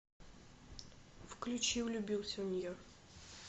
включи влюбился в нее